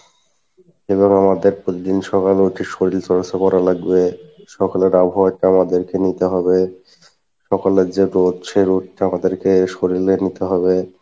এবং আমাদের প্রতিদিন সকালে উঠে শরীল চর্চা করা লাগবে, সকালের আবহাওয়াটা আমাদেরকে নিতে হবে সকালের যে রোদ সে রোদ টা আমাদেরকে শরীলে নিতে হবে,